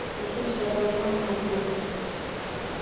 но ты все равно наш друг